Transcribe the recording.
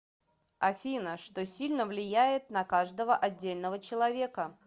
афина что сильно влияет на каждого отдельного человека